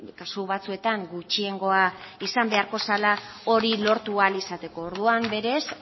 kasu batzuetan gutxiengoa izan beharko zela hori lortu ahal izateko orduan berez